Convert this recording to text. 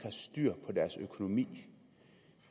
styr på deres økonomi